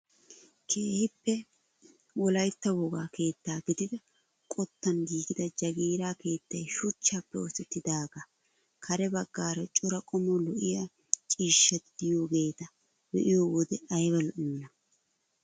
Keehippe wolayttaa wogaa keettaa gidida qottan giigida jagiira keettay shuchchaappe oosettidagaa kare baggaara cora qommo lo"iyaa ciishshati de'iyaageta be'iyoo wode ayba lo"iyoonaa!